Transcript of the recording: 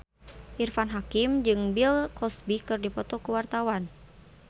Irfan Hakim jeung Bill Cosby keur dipoto ku wartawan